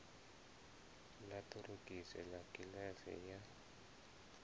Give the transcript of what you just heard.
ḽa ṱorokisi ḽa kiḽasi ya